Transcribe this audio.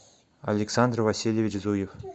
александр васильевич зуев